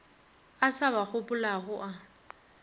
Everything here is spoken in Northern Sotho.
a sa ba gopolago a